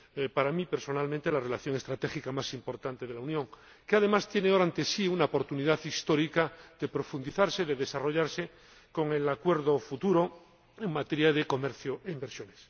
Para mí, personalmente, es la relación estratégica más importante de la Unión, que, además, tiene ahora ante sí una oportunidad histórica de profundizarse, de desarrollarse con el futuro acuerdo en materia de comercio e inversión.